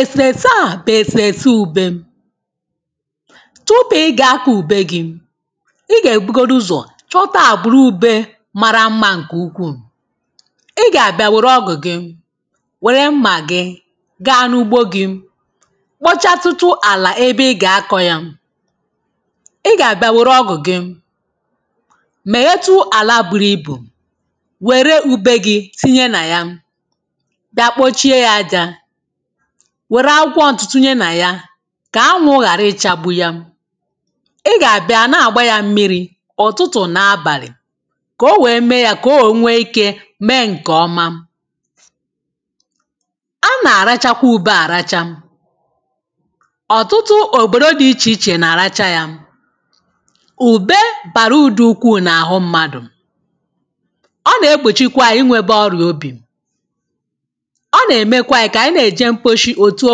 Eseesē a bụ ēsēsē ụ̀bè Tụpụ i ga-akọ ụ̀bē i ga ebugodu ụzọ chọta agbūrū ụ̀bè mara mmà ṅkē ụ̀kwuu I ga abia weru ọ̀gụ̄ gi wērē mma gi ga n’ụ̀gbo gi kpòchatụ̄tụ̄ àlà ebē i ga àkọ̀ ya I ga abia werū ọ̀gụ̀ gi mēhètụ̀ àlà bụru ìbụ wērē ụ̀bè gi tinye na ya ba kpochie ya àjà werū àkwọ̀ ntụ̄tụ̄ tinye na ya ka ànwụ̀ gharā ìchagbu ya I ga abia na-agba ya m̀miri ụ̀tụ̀tụ̀ na abalì ko owee mee ya ko wee nwe ìke mee ṅke ọ̀mà Ànà rachakwụ ụ̀be àràcha ọ̀tụ̄tụ̄ obodo di ìche ìche na-aracha ya ụ̀be barū ụ̀dù ụkwuu na aɦụ mmadụ ọ na-egbochikwa inweba ọria obi ọ̀ na-emekwa anyi ka anyi na-eje m̀kposhi otu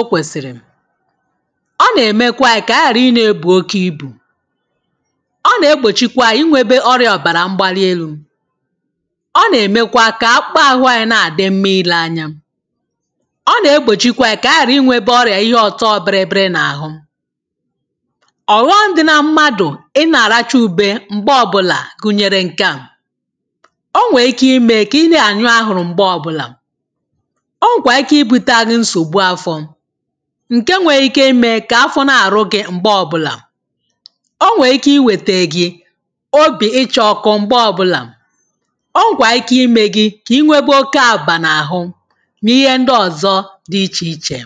okwesiri ọ na-emekwa anyi ka ghari nā-ebu oke ìbụ̄ ọ na-egbochikwa anyi inwebe ọria ọ̀bara m̀gbali elū ọ̀ na-ēmēkwa ka akpụ̄kpa àhụ̄ anyi na-adi m̀ma ìle ànya ọ na-egbochikwa anyi ka ighari inwebe ọria ìhe ọ̀tọ̀ bìrì bìrì na àhụ̄ ọ̀ghọ̀m di na mmadụ i na arachụ ụ̀bē mgbe ọ̀bụla gunyere ṅke a onwee ìke imee ki na anyụ̄ àhụ̄rụ̄ mgbe ọ̀bụ̄la onwe ike ìbuta gi nsogbu àfọ̀ ṅ̀ke nwe ìke imee ka àfọ̀ na-àrụ̄ gi mgbe ọ̀bụ̄la ònwe ìkē iwētē gi obi icha ọ̀kụ̀ mgbe ọbụla o nwekwa ìke imegi ki nwebē oke aba na àhụ̄ niihe ndi ọ̀zọ̀ di ìchē ìchē